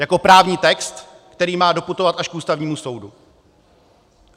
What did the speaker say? Jako právní text, který má doputovat až k Ústavnímu soudu.